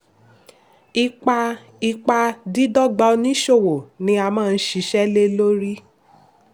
ipa ipa dídọ́gba oníṣòwò ni a máa ṣiṣẹ́ lé lórí.